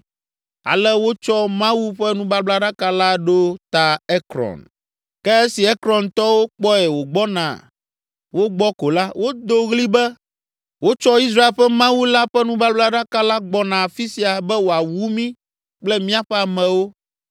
Ale wotsɔ Mawu ƒe nubablaɖaka la ɖo ta Ekron. Ke esi Ekrontɔwo kpɔe wògbɔna wo gbɔ ko la, wodo ɣli be, “Wotsɔ Israel ƒe Mawu la ƒe nubablaɖaka la gbɔna afi sia be wòawu mí kple míaƒe amewo.”